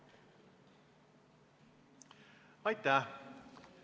Aitäh!